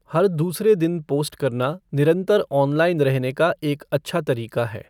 हर दूसरे दिन पोस्ट करना निरंतर ऑनलाइन रहने का एक अच्छा तरीका है।